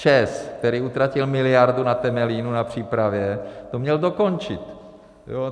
ČEZ, který utratil miliardu na Temelínu na přípravě, to měl dokončit.